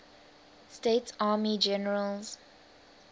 states army generals